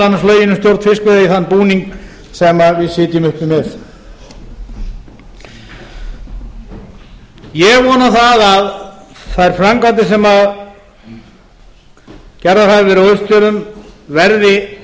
annars lögin um stjórn fiskveiða í þann búning sem við sitjum uppi með ég vona að þær framkvæmdir sem gerðar hafa verið á austfjörðum verði